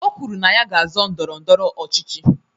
O kwuru na ya ga-azọ ndọrọ ndọrọ ọchịchị.